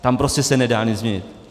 Tam prostě se nedá nic změnit.